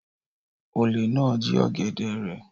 Olè náà jí ó èdè rẹ̀.